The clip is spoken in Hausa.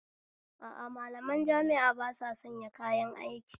A a, malaman jami'a ba sasanya kayan aiki